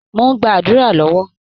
Mò ń gba àdúrà lọ́wọ́